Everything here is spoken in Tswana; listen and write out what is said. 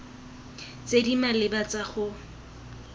tse di maleba tsa go